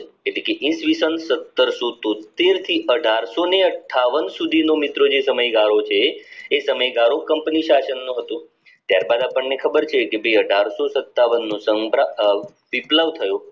કે જે ઈ. સ. સતરશો તોતેર થી અઠારશો અઠ્ઠાવન સુધી નો મિત્રો જે સમયગાળો છે એ સમય ગાળો company શાસન નો હતો ત્યારબાદ ખબર છે કે ભાઈ અઠારશો સત્તાવાનનો વીપલવ કેટલો થયો